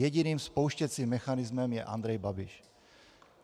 Jediným spouštěcím mechanismem je Andrej Babiš.